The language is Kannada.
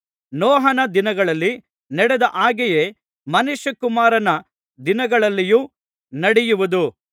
ನೋಹನ ದಿನಗಳಲ್ಲಿ ನಡೆದ ಹಾಗೆಯೇ ಮನುಷ್ಯಕುಮಾರನ ದಿನಗಳಲ್ಲಿಯೂ ನಡೆಯುವುದು